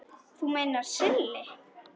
Þú meinar Silli?